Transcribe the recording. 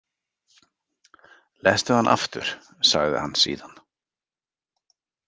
Lestu hana aftur, sagði hann síðan.